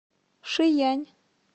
шиянь